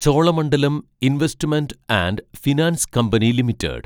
Cholamandalam investment and finance company limited